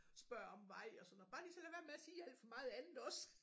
Spørg om vej og sådan bare de så lader være med at sige alt for meget andet også